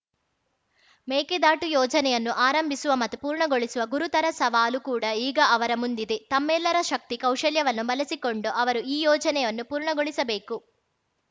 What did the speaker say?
ಮೇಕೆದಾಟು ಯೋಜನೆಯನ್ನು ಆರಂಭಿಸುವ ಮತ್ತು ಪೂರ್ಣಗೊಳಿಸುವ ಗುರುತರ ಸವಾಲು ಕೂಡ ಈಗ ಅವರ ಮುಂದಿದೆ ತಮ್ಮೆಲ್ಲರ ಶಕ್ತಿ ಕೌಶಲ್ಯವನ್ನು ಬಳಸಿಕೊಂಡು ಅವರು ಈ ಯೋಜನೆಯನ್ನು ಪೂರ್ಣಗೊಳಿಸಬೇಕು